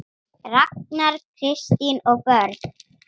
Ragnar, Kristín og börn.